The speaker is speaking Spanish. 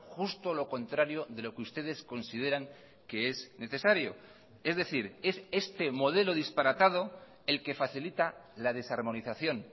justo lo contrario de lo que ustedes consideran que es necesario es decir es este modelo disparatado el que facilita la desarmonización